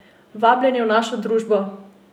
Vabljeni v našo družbo!